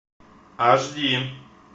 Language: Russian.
аш ди